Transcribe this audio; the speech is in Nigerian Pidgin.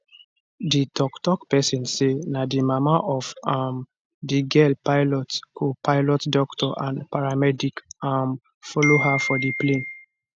di toktok pesin say na di mama of um di girl pilot copilot doctor and paramedic um follow her for di plane